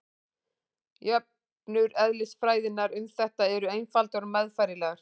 Jöfnur eðlisfræðinnar um þetta eru einfaldar og meðfærilegar.